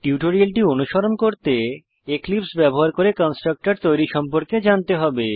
টিউটোরিয়ালটি অনুসরণ করতে এক্লীপ্স ব্যবহার করে কন্সট্রকটর তৈরী সম্পর্কে জানতে হবে